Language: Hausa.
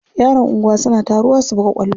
Yaran anguwa suna taruwa su buga kwallo.